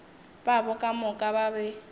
babo ka moka ba be